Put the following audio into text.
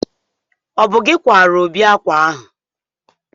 ọ bụ gị kwaara Obi akwa ahụ